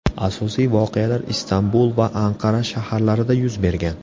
Asosiy voqealar Istanbul va Anqara shaharlarida yuz bergan.